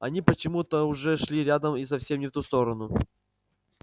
они почему то уже шли рядом и совсем не в ту сторону